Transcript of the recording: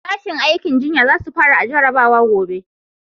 Sashin aikin jinya za su fara jarabawa gobe